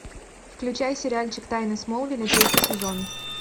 включай сериальчик тайны смолвиля третий сезон